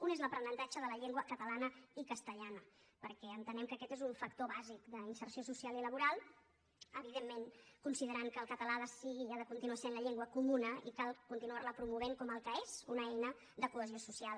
un es l’aprenentatge de la llengua catalana i castellana perquè entenem que aquest és un factor bàsic d’inserció social i laboral evidentment considerant que el català ha de continuar sent la llengua comuna i cal continuarla promovent com el que és una eina de cohesió social